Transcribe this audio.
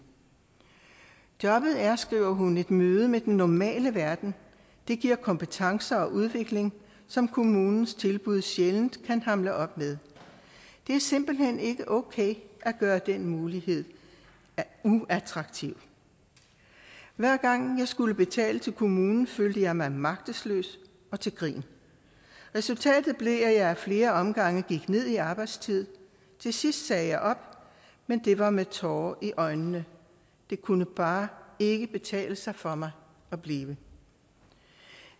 jobbet er skriver hun et møde med den normale verden det giver kompetencer og udvikling som kommunens tilbud sjældent kan hamle op med det er simpelt hen ikke okay at gøre den mulighed uattraktiv hver gang jeg skulle betale til kommunen følte jeg mig magtesløs og til grin resultatet blev at jeg ad flere omgange gik ned i arbejdstid til sidst sagde jeg op men det var med tårer i øjnene det kunne bare ikke betale sig for mig at blive